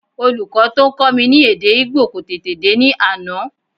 Olùkọ́ tó ń kọ́ mi ní èdè Ìgbò kò tèdè dé ní àná